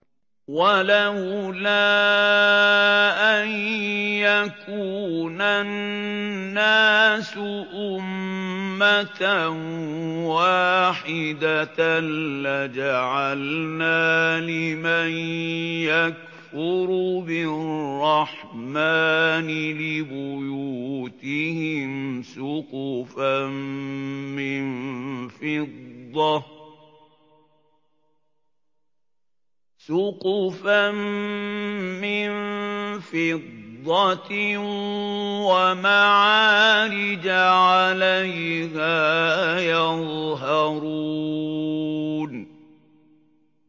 وَلَوْلَا أَن يَكُونَ النَّاسُ أُمَّةً وَاحِدَةً لَّجَعَلْنَا لِمَن يَكْفُرُ بِالرَّحْمَٰنِ لِبُيُوتِهِمْ سُقُفًا مِّن فِضَّةٍ وَمَعَارِجَ عَلَيْهَا يَظْهَرُونَ